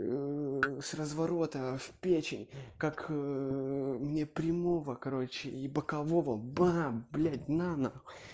с разворота в печень как мне прямого короче и бокового бам блять на нахуй